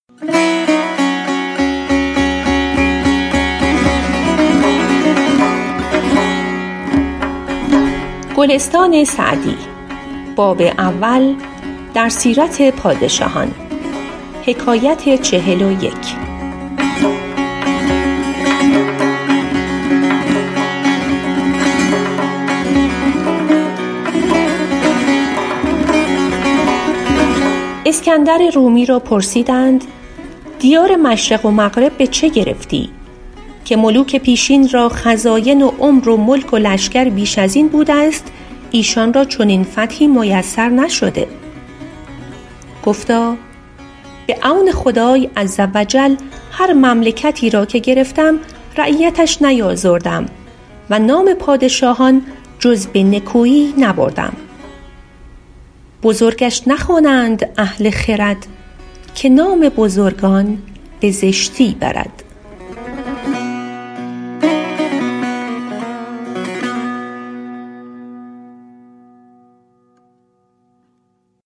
اسکندر رومی را پرسیدند دیار مشرق و مغرب به چه گرفتی که ملوک پیشین را خزاین و عمر و ملک و لشکر بیش از این بوده است ایشان را چنین فتحی میسر نشده گفتا به عون خدای عزوجل هر مملکتی را که گرفتم رعیتش نیآزردم و نام پادشاهان جز به نکویی نبردم بزرگش نخوانند اهل خرد که نام بزرگان به زشتی برد